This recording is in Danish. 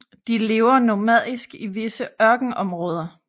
De lever nomadisk i visse ørkenområder